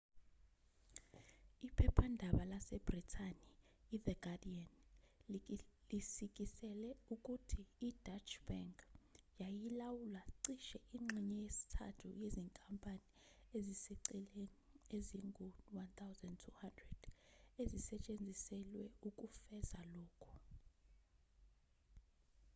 iphephandaba lasebhrithani ithe guardian lisikisele ukuthi ideutsche bank yayilawula cishe ingxenye yesithathu yezinkampani eziseceleni ezingu-1200 ezisetshenziselwe ukufeza lokhu